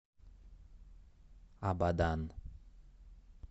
абадан